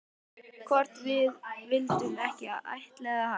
Hvort við vildum ekki ættleiða hana?